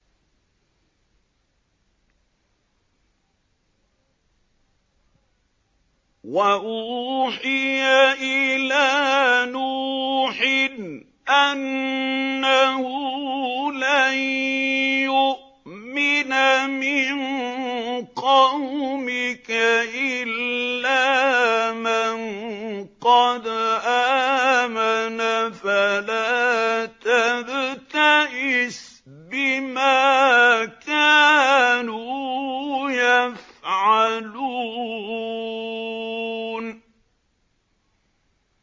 وَأُوحِيَ إِلَىٰ نُوحٍ أَنَّهُ لَن يُؤْمِنَ مِن قَوْمِكَ إِلَّا مَن قَدْ آمَنَ فَلَا تَبْتَئِسْ بِمَا كَانُوا يَفْعَلُونَ